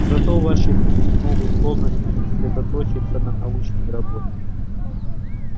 зато ваши люди смогут полностью сосредоточиться на научной работе